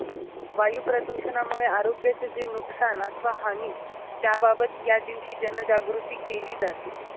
वायू प्रदूषणामुळे आरोग्याचे जे नुकसान अथवा हानी, त्याबाबत यादिवशी जनजागृती केली जाते.